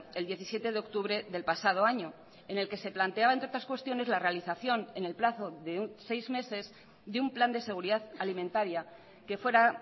el diecisiete de octubre del pasado año en el que se planteaba entre otras cuestiones la realización en el plazo de seis meses de un plan de seguridad alimentaria que fuera